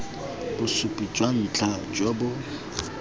bosupi jwa ntlha jo bo